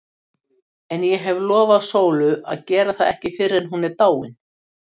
En ég hef lofað Sólu að gera það ekki fyrr en hún er dáin.